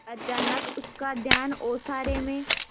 अचानक उसका ध्यान ओसारे में